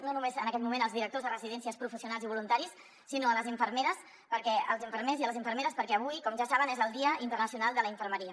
no només en aquell moment als directors de residències professionals i voluntaris sinó a les infermeres i els infermers perquè avui com ja saben és el dia internacional de la infermeria